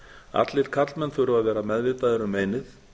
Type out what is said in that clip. allir karlmenn þurfa að vera meðvitaðir um meinið